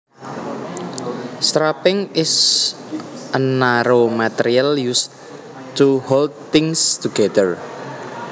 Strapping is a narrow material used to hold things together